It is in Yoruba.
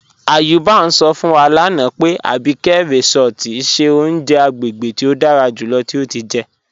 Ayuba n sọ fún wa lánà pé Àbíkẹ̀ Résọ̀tì ṣẹ ọ̀uǹjẹ̀ àgbégébè tí o dára júlọ̀ tí o ti jẹ́.